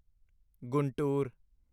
Guntur